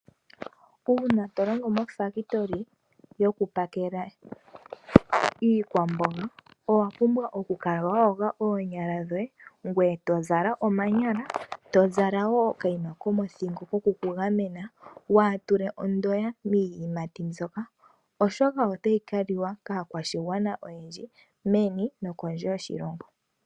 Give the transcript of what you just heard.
Uuna to longo mofaabulika yokupakela iikwamboga owa pumbwa okukala wa yoga oonyala dhoye. Ngoye to zala omanyala to zala wo okanima komothingo koku kugamena waatule ondoya miiyimati mbyoka. Oshoka otayi kaliwa kaakwashigwana oyendji meni nokondje yoshilongo.